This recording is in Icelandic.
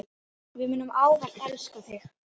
Við munum ávallt elska þig.